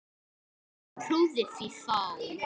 En trúði því þá.